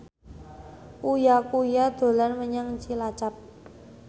Uya Kuya dolan menyang Cilacap